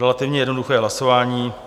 Relativně jednoduché hlasování.